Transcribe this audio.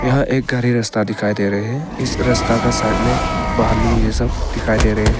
यह एक गहरी रस्ता दिखाई दे रहे है इस रस्ता का साइड में बालू यह सब दिखाई दे रहे हैं।